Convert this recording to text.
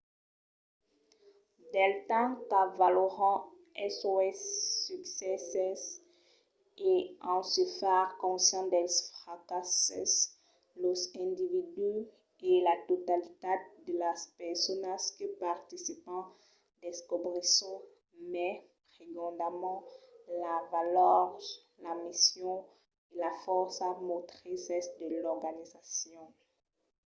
del temps qu'avaloran sos succèsses e en se far conscient dels fracasses los individus e la totalitat de las personas que participan descobrisson mai prigondament las valors la mission e las fòrças motrises de l’organization